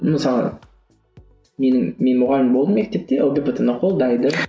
мысалы менің мен мұғалім болдым мектепте лгбт ны қолдайды